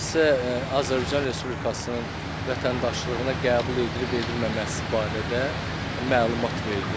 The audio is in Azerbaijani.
Şəxsə Azərbaycan Respublikasının vətəndaşlığına qəbul edilib edilməməsi barədə məlumat verilir.